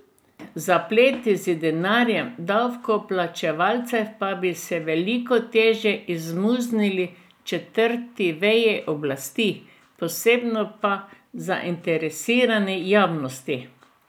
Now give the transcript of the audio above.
Zapleti z denarjem davkoplačevalcev pa bi se veliko težje izmuznili četrti veji oblasti, posebno pa zainteresirani javnosti.